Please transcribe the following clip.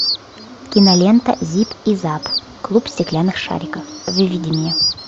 кинолента зип и зап клуб стеклянных шариков выведи мне